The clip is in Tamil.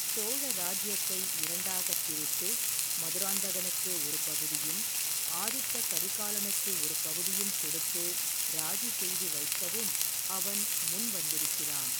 சோழ இராஜ்யத்தை இரண்டாகப் பிரித்து மதுராந்தகனுக்கு ஒரு பகுதியும் ஆதித்த கரிகாலனுக்கு ஒரு பகுதியும் கொடுத்து ராஜி செய்து வைக்கவும் அவன் முன் வந்திருக்கிறான்.